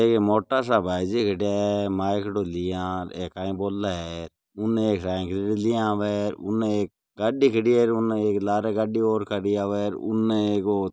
एक अ मोटा सा भाईजी खड़ा है माइकडो लिया ए काई बोले है उनने एक साइकिल लिया आव आदमी खड़े है उनने गाडी खड़ी है उनने लारे एक गाडी और उनहे एक ओ--